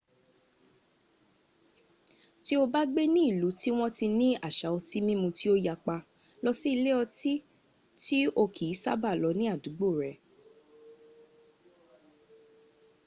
tí o bá gbé ní ìlú tí wọ́n ti ni àṣà otí mímu tí ó yapa lọ sí ilé ọtí tí o kìí ṣába lọ ní àdúgbò rẹ